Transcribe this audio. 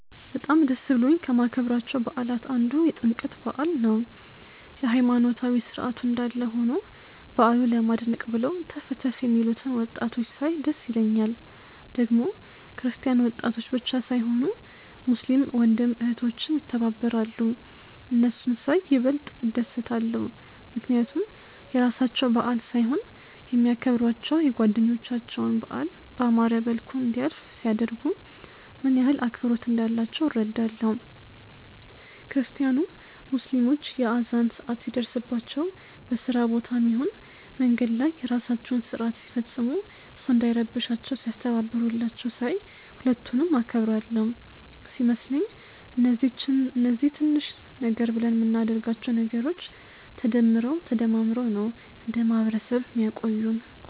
በጣም ደስ ብሎኝ ከማከብራቸው በዓላት አንዱ የጥምቀት በዓል ነው። የሃይማኖታዊ ስርዓቱ እንዳለ ሆኖ በዓሉ ለማድመቅ ብለው ተፍ ተፍ የሚሉትን ወጣቶች ሳይ ደስ ይለኛል። ደግሞ ክርስቲያን ወጣቶች ብቻ ሳይሆኑ ሙስሊም ወንድም እህቶችም ይተባበራሉ። እነሱን ሳይ ይበልጥ እደሰታለው፣ ምክንያቱም የራሳቸው በዓል ሳይሆን የሚያከብሯቸው የጓደኞቻቸውን በዓል ባማረ መልኩ እንዲያልፍ ሲያደርጉ፣ ምን ያህል አክብሮት እንዳላቸው እረዳለው። ክርስቲያኑም ሙስሊሞች የአዛን ሰአት ሲደርስባቸው በስራ ቦታም ይሁን መንገድ ላይ የራሳቸውን ስርአት ሲፈጽሙ ሰው እንዳይረብሻቸው ሲያስተባብሩላቸው ሳይ ሁለቱንም አከብራለው። ሲመስለኝ እነዚህ ትንሽ ነገር ብለን ምናደርጋቸው ነገሮች ተደምረው ተደማምረው ነው እንደ ማህበረሰብ ሚያቆዩን።